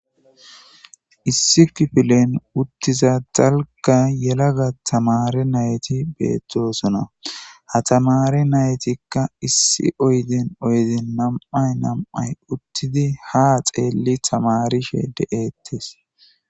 issi kipilen uttiza dalga yelaga tamare nayti beettosona ha tamari naytikka issi oyden oyden nam'ay nam'ay uttidi ha xeelli tamarishe de'ettes